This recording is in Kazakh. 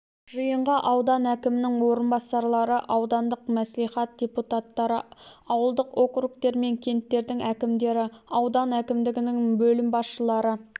жиынға аудан әкімінің орынбасарлары аудандық мәслихат депутаттары ауылдық округтер мен кенттердің әкімдері аудан әкімдігінің бөлім басшылары